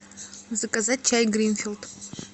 заказать чай гринфилд